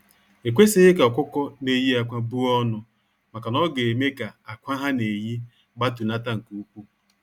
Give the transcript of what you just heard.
Ekwesighi ka ọkụkọ na eye akwa buọnụ maka na ọ ga eme ka akwa ha na eye gbatunata nke ukwu.